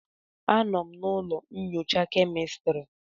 Anọ m na ụlọ nyocha kemistri.